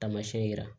Tamasiyɛn yira